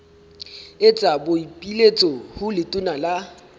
etsa boipiletso ho letona la